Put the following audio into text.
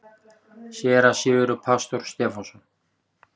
SÉRA SIGURÐUR: Pastor Stefánsson.